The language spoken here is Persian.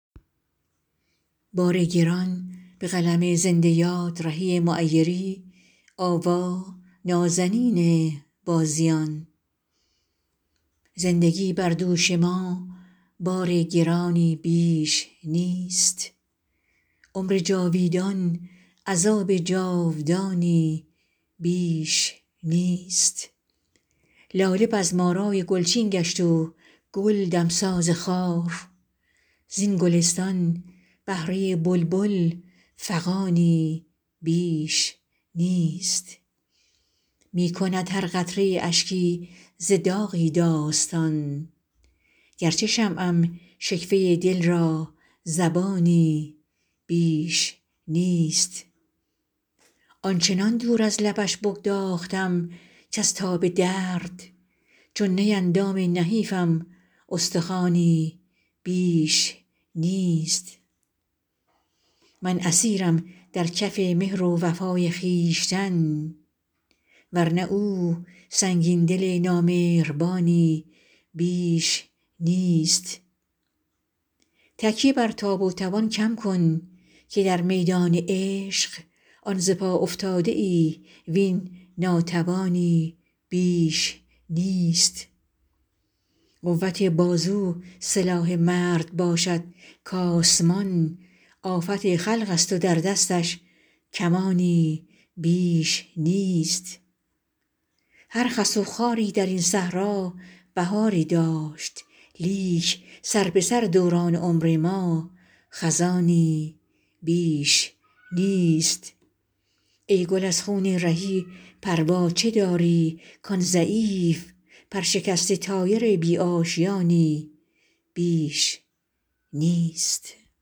زندگی بر دوش ما بار گرانی بیش نیست عمر جاویدان عذاب جاودانی بیش نیست لاله بزم آرای گلچین گشت و گل دمساز خار زین گلستان بهره بلبل فغانی بیش نیست می کند هر قطره اشکی ز داغی داستان گرچه شمعم شکوه دل را زبانی بیش نیست آنچنان دور از لبش بگداختم کز تاب درد چون نی اندام نحیفم استخوانی بیش نیست من اسیرم در کف مهر و وفای خویشتن ورنه او سنگین دل نامهربانی بیش نیست تکیه بر تاب و توان کم کن که در میدان عشق آن ز پا افتاده ای وین ناتوانی بیش نیست قوت بازو سلاح مرد باشد کآسمان آفت خلق است و در دستش کمانی بیش نیست هر خس و خاری درین صحرا بهاری داشت لیک سربه سر دوران عمر ما خزانی بیش نیست ای گل از خون رهی پروا چه داری کان ضعیف پر شکسته طایر بی آشیانی بیش نیست